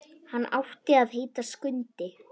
Hann átti að heita Skundi.